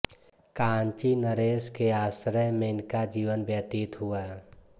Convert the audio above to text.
कांचीनरेश के आश्रय में इनका जीवन व्यतीत हुआ